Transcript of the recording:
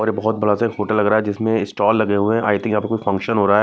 और ये बहोत बड़ा सा एक होटल लग रहा है जिसमें इस्टॉल लगे हुए हैं आई थिंक यहाँ पे कुछ फंक्शन हो रहा है।